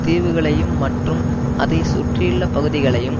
தீவுகளையும் மற்றும் அதை சுற்றியுள்ள பகுதிகளையும்